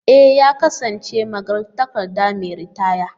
E! ya kasance magatakarda mai ritaya.